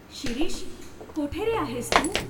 शिरीष, कोठे रे आहेस तू?